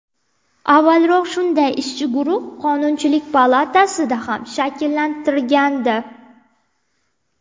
Avvalroq shunday ishchi guruh Qonunchilik palatasida ham shakllantirilgandi .